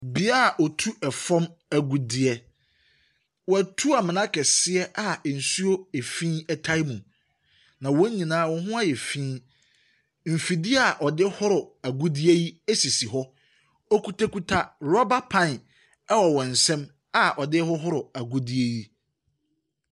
Bea a wɔtu fam agudeɛ. Wɔatu amena kɛseɛ a nsuo efi tae mu. Na wɔn nyinaa wɔn ho ayɛ fi. Mfidie a wɔde horo agudie yi sisi hɔ. Wɔkutakuta rubber pan wɔ wɔn nsam a wɔde hohoro agudeɛ yi.